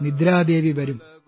നിദ്രാദേവി വരും